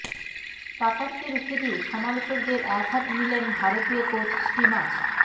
কাতারকে রুখে দিয়ে সমালোচকদের একহাত নিলেন ভারতীয় কোচ স্টিমাচ